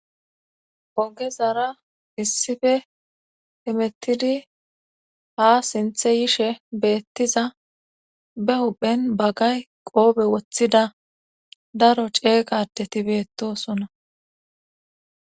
oge zara issife hemettidi ha sinthe yishe beettiza be huphen baggay qoobe woththida daro ceega adeti beettosona